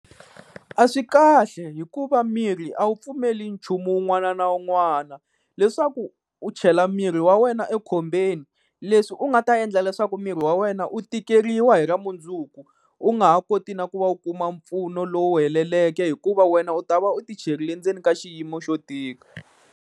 A swi kahle hikuva miri a wu pfumeli nchumu wun'wana na wun'wana, leswaku u chela miri wa wena ekhombyeni leswi u nga ta endla leswaku miri wa wena u tikeriwa hi ra mundzuku, u nga ha koti na ku va u kuma mpfuno lowu heleleke hikuva wena u ta va u ti cherile ndzeni ka xiyimo xo tika.